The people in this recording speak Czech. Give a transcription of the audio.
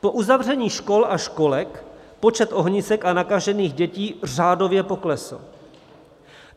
Po uzavření škol a školek počet ohnisek a nakažených dětí řádově poklesl.